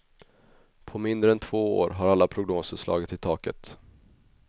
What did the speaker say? På mindre än två år har alla prognoser slagit i taket.